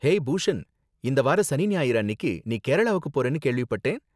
Hey Bhushan, இந்த வார சனி ஞாயிறு அன்னிக்கு நீ கேரளாவுக்கு போறன்னு கேள்விப்பட்டேன்.